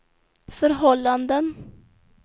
förhållanden